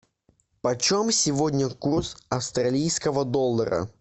почем сегодня курс австралийского доллара